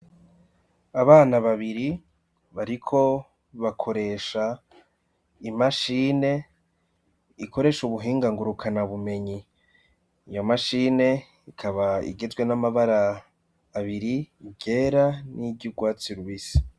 Abana babiri bariko bakoresha imashine ikoresha ubuhinga ngurukanabumenyi. Iyo mashine ikaba igizwe n'amabara abiri: iryera n'iryurwatsi rubisi.